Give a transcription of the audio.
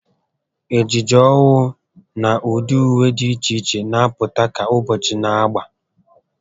Ejiji ọhụụ na ụdị ùwé dị iche iche n'apụta ka ụbọchị na-agba